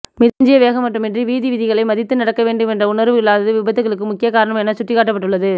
மிதமிஞ்சிய வேகம் மட்டுமன்றி வீதிவிதிகளை மதித்து நடக்க வேண்டும் என்ற உணர்வு இல்லாததும் விபத்துகளுக்கு முக்கியக் காரணம் எனச்சுட்டிக்காட்டப்பட்டுள்ளது